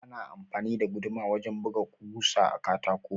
Ana amfani da guduma wajen buga ɓusa a katako.